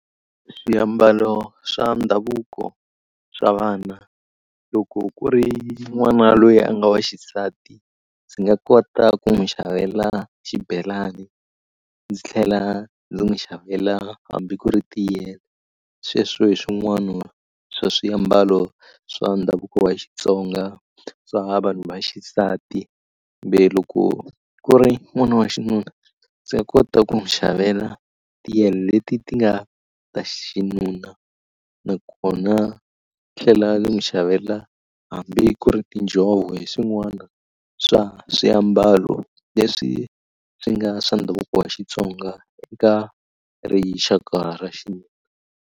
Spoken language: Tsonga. Swiambalo swa ndhavuko swa vana loko ku ri n'wana loyi a nga wa xisati ndzi nga kota ku n'wi xavela xibelani ndzi tlhela ndzi n'wi xavela hambi ku ri sweswo hi swin'wana swa swiambalo swa ndhavuko wa Xitsonga swa vanhu va xisati kambe loko ku ri n'wana wa xinuna ndzi ya kota ku n'wi xavela leti ti nga ta xinuna nakona tlhela ni n'wi xavela hambi ku ri tinjhovo hi swin'wana swa swiambalo leswi swi nga swa ndhavuko wa Xitsonga ka rixaka ra .